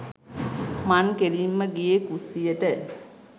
මං කෙළින්ම ගියේ කුස්සියට